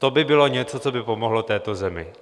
To by bylo něco, co by pomohlo této zemi.